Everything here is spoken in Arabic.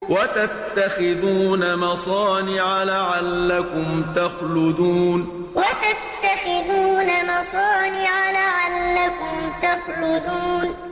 وَتَتَّخِذُونَ مَصَانِعَ لَعَلَّكُمْ تَخْلُدُونَ وَتَتَّخِذُونَ مَصَانِعَ لَعَلَّكُمْ تَخْلُدُونَ